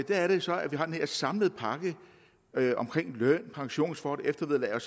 der er det så at vi har den her samlede pakke om løn pensionsforhold eftervederlag